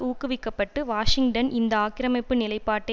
ஊக்குவிக்கப்பட்டு Washington இந்த ஆக்கிரமிப்பு நிலைப்பாட்டை